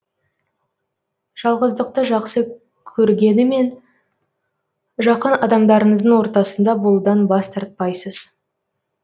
жалғыздықты жақсы көргенімен жақын адамдарыңыздың ортасында болудан бас тартпайсыз